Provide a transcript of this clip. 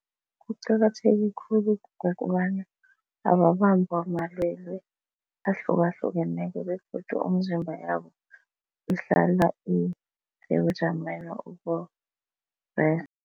Kuqakatheke khulu ngokobana ababambwa namalwelwe ahlukahlukeneko begodu imizimba yabo ihlala isebujameni